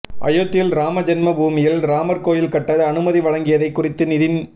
அயோத்தியில் ராமஜென்ம பூமியில் ராமர் கோயில் கட்ட அனுமதி வழங்கியதை குறித்து நிதின்